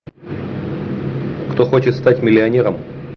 кто хочет стать миллионером